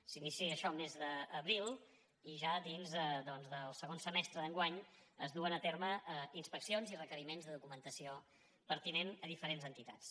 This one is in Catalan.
s’inicia això el mes d’abril i ja dins del segon semestre d’enguany es duen a terme inspeccions i requeriments de documentació pertinent a diferents entitats